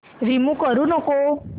remove करू नको